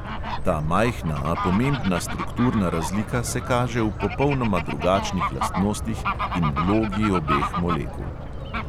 Ta majhna, a pomembna strukturna razlika se kaže v popolnoma drugačnih lastnostih in vlogi obeh molekul.